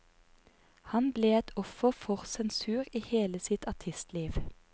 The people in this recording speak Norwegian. Han ble et offer for sensur i hele sitt artistliv.